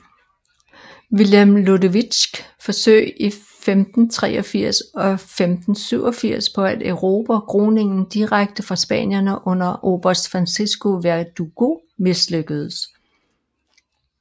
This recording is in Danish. Willem Lodewijks forsøg i 1583 og 1587 på at erobre Groningen direkte fra spanierne under oberst Francisco Verdugo mislykkedes